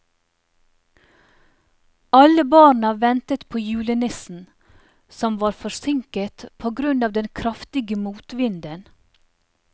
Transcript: Alle barna ventet på julenissen, som var forsinket på grunn av den kraftige motvinden.